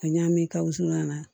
Ka ɲa min ka wusulan na